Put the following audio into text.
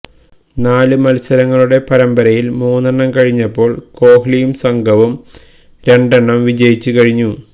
നാല് മത്സരങ്ങളുടെ പരമ്പരയില് മൂന്നെണ്ണം കഴിഞ്ഞപ്പോള് കോഹ്ലിയും സംഗവും രണ്ടെണ്ണം വിജയിച്ച് കഴിഞ്ഞു